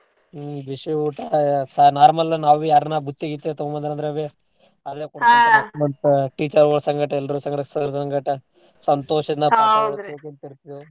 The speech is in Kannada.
ಹ್ಮ್ ಬಿಸಿ ಊಟ ಸಾ~ normal ನಾವು ಯಾರನ ಬುತ್ತಿ ಗಿತ್ತಿ ತೂಗೋಂಬಂದ್ರಂದ್ರ ಅಲ್ಲೇ teacher ಗುಳ್ ಸಂಗಾಟ ಎಲ್ರೂ ಸಂಗಾಟ sir ಸಂಗಾಟ ಸಂತೋಷದಿಂದ .